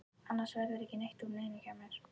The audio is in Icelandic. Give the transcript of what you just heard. Annars verður ekki neitt úr neinu hjá mér.